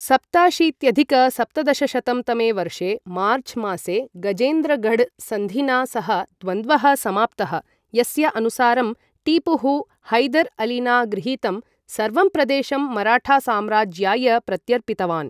सप्ताशीत्यधिक सप्तदशशतं तमे वर्षे मार्च् मासे गजेन्द्रगढ सन्धिना सह द्वन्द्वः समाप्तः, यस्य अनुसारं टीपुः, हैदर् अलिना गृहीतं सर्वं प्रदेशं मराठा साम्राज्याय प्रत्यर्पितवान्।